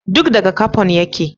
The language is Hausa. Duk daga Capon ya ce